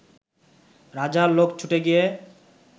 রাজার লোক ছুটে গিয়ে